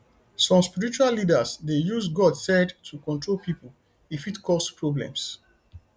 some spiritual leaders dey use god said to control pipo e fit cause problems